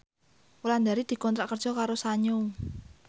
Wulandari dikontrak kerja karo Sanyo